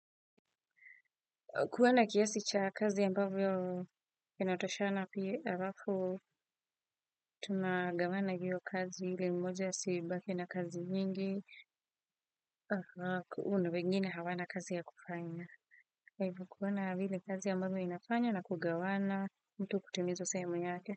Kuona kiasi cha kazi ambavyo inatoshana pia harafu. Tumagawana hiyo kazi ili mmoja asibaki na kazi nyingi. Na wengine hawana kazi ya kufanya. Kwa hivo kuona vile kazi ambavyo inafanywa na kugawana mtu kutimiza sehemu yake.